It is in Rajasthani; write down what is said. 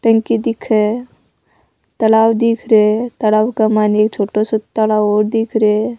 टंकी दिखे तालाब दिख रहे तालाब के मायने एक छोटो साे तालाब और दिख रहियो है।